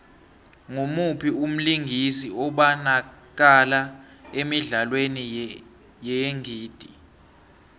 ngumuphi umlingisi obanakala emidlalweni yeengidi